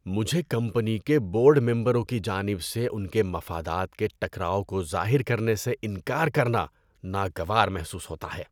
‏مجھے کمپنی کے بورڈ ممبروں کی جانب سے ان کے مفادات کے ٹکراؤ کو ظاہر کرنے سے انکار کرنا ناگوار محسوس ہوتا ہے۔